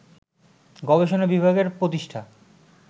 গবেষণা বিভাগের প্রতিষ্ঠা